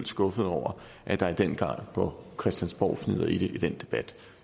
skuffet over at der i den grad går christiansborgfnidder i den debat